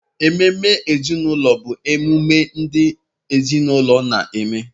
Ememe ezinụlọ bụ emume ndị ezinaụlọ na-eme